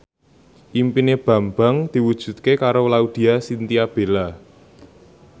impine Bambang diwujudke karo Laudya Chintya Bella